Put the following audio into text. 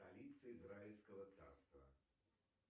столица израильского царства